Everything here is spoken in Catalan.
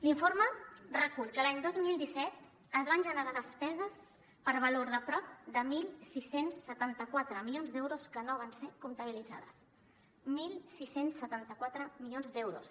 l’informe recull que l’any dos mil disset es van generar despeses per valor de prop de setze setanta quatre milions d’euros que no van ser comptabilitzades setze setanta quatre milions d’euros